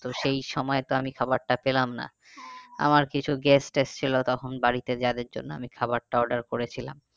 তবে সেই সময়ে তো আমি খাবারটা পেলাম না। আমার কিছু guest এসছিলো তখন বাড়িতে আমি যাদের জন্য খবরটা order করেছিলাম